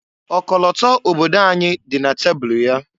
Ọkọlọtọ obodo anyị dị na tabulu ya.